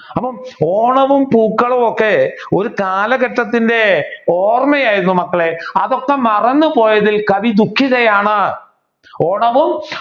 അപ്പൊ ഓണവും പൂക്കളവുമൊക്കെ ഒരു കാലഘട്ടത്തിന്റെ ഓര്മയായിരുന്നു മക്കളെ. അതൊക്കെ മർന്നുപോയതിൽ കവി ദുഖിതയാണ് ഓണവും